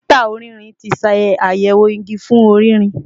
Mita ọrinrin ti ṣayẹwo igi fun ọririn